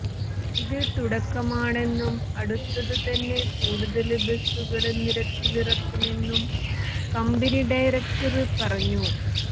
ഇത് തുടക്കമാണെന്നും അടുത്ത് തന്നെ കൂടുതല് ബസുകള് നിരത്തിലിറക്കുമെന്നും കമ്പനി ഡയറക്ടര് പറഞ്ഞു